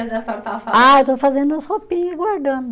Ah, eu estou fazendo umas roupinha e guardando.